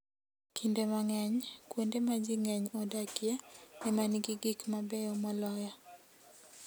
Kinde mang'eny, kuonde ma ji ng'eny odakie ema nigi gik mabeyo moloyo.